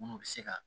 Munnu be se ka